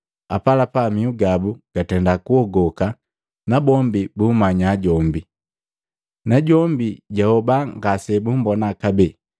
Apalapa mihu gabu gatenda kuogoka nabombi bumanya jombi, najombi jahoba ngase bumbona kabee.